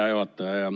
Hea juhataja!